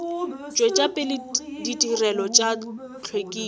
tšwetša pele ditirelo tša hlwekišo